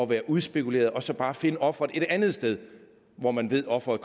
være udspekuleret og så bare finde offeret et andet sted hvor man ved offeret